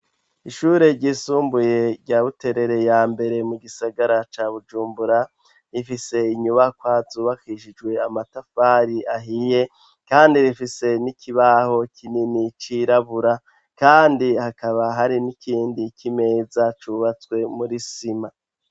Ishure ry'isumbuye rya buterere ya mbere mu gisagara ca bujumbura rifise inyubakwa zubakishijwe amatafari ahiye kandi rifise n'ikibaho kinini cirabura kandi hakaba hari n'ikindi k'imeza cubatswe muri sima.